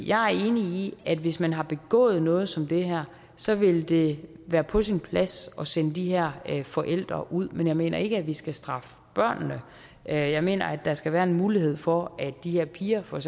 jeg er enig i at hvis man har begået noget som det her så vil det være på sin plads at sende de her forældre ud men jeg mener ikke at vi skal straffe børnene jeg mener at der skal være en mulighed for at de her piger for